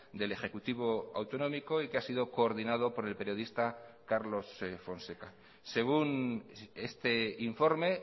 del ejecutivo autonómico y que ha sido coordinado por el periodista carlos fonseca según este informe